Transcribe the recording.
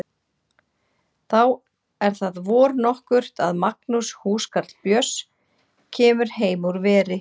Þá er það vor nokkurt að Magnús húskarl Björns kemur heim úr veri.